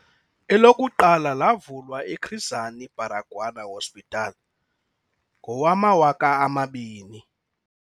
Elokuqala lavulwa eChris Hani Baragwanath Hospital ngowama-2000.